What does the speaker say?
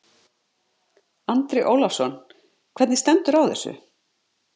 Andri Ólafsson: Hvernig stendur á þessu?